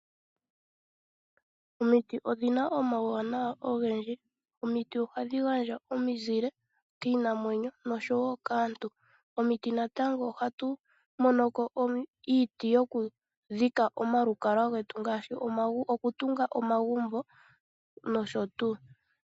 Omiti odhi na omauwanawa ogendji. Omiti ohadhi gandja omizile kiinamwenyo noshowo kaantu. Komiti ohatu mono ko iiti yokudhika omalukalwa getu nosho tuu.